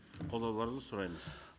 қолдауларыңызды сұраймыз